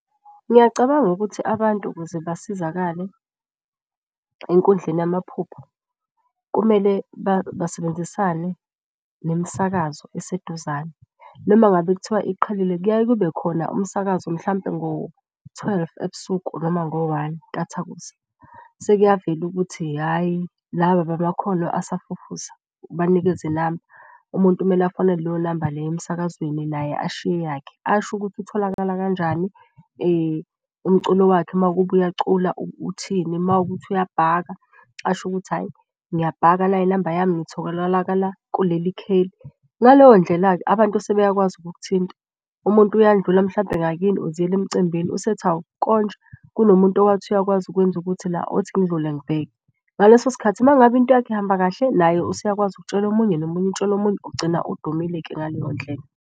Ngiyacabanga ukuthi abantu ukuze basizakale enkundleni yamaphupho kumele basebenzisane nemisakazo eseduzane noma ngabe kuthiwa iqhelile. Kuyaye kube khona umsakazo mhlampe ngo-twelve ebusuku noma ngo-one intathakusa. Sekuyavela ukuthi hhayi laba abamakhono asafufusa, ubanikeze inamba. Umuntu kumele afonele leyo namba leyo emsakazweni naye ashiye yakhe asho ukuthi utholakala kanjani. Umculo wakhe makuwukuba uyacula uthini mawukuthi uyabhaka asho ukuthi, hhayi ngiyabhaka nayi inamba yami ngitholakala kuleli kheli. Ngaleyo ndlela-ke abantu sebeyakwazi ukukuthinta umuntu uyandlula mhlampe ngakini uziyele emcimbini. Usethi hhawu konje kunomuntu owathi uyakwazi ukwenza ukuthi la othi ngidlule ngibheke. Ngaleso sikhathi uma ngabe into yakho ihamba kahle naye useyakwazi ukutshela omunye nomunye etshele omunye ugcine odumile-ke ngaleyo ndlela.